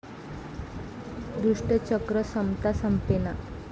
दुष्टचक्र संपता संपेना!